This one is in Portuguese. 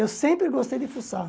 Eu sempre gostei de fuçar.